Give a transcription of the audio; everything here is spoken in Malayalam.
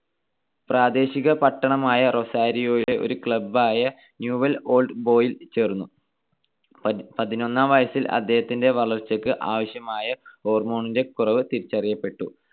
പ്രാദേശിക പട്ടണമായ റൊസാരിയോവിലെ ഒരു club ആയ ന്യൂവെൽസ് ഓൾഡ് ബോയ്സിൽ ചേർന്നു. പതിനൊന്നാം വയസ്സിൽ അദ്ദേഹത്തിന്റെ വളർച്ചക്കു ആവശ്യമായ hormone ന്റെ കുറവ് തിരിച്ചറിയപ്പെട്ടു.